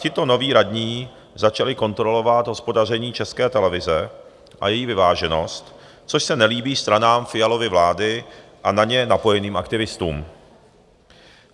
Tito noví radní začali kontrolovat hospodaření České televize a její vyváženost, což se nelíbí stranám Fialovy vlády a na ně napojeným aktivistům.